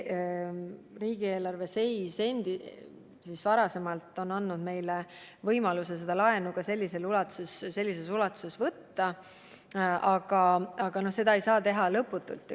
Riigieelarve varasem seis on andnud meile võimaluse laenu ka sellises ulatuses võtta, aga seda ei saa teha lõputult.